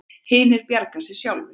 Hinir bjargi sér sjálfir.